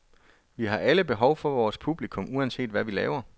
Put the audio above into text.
Vi har alle behov for vores publikum uanset hvad vi laver.